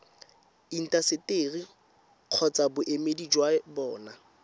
intaseteri kgotsa boemedi jwa bona